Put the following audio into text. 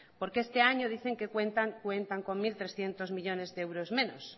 porque este año dicen que cuentan con mil trescientos millónes de euros menos